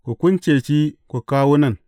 Ku kunce shi ku kawo nan.